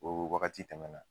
O wagati tɛmɛ na.